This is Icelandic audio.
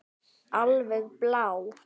Alveg blá.